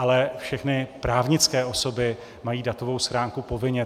Ale všechny právnické osoby mají datovou schránku povinně.